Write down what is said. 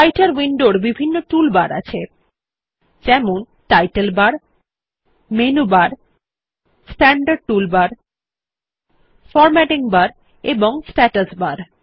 রাইটের উইন্ডোর বিভিন্ন টুল বার আছে যেমন title bar menu bar standard toolbar formatting bar এবং স্ট্যাটাস বার